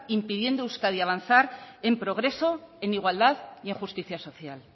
impidiendo a euskadi avanzar en progreso en igualdad y en justicia social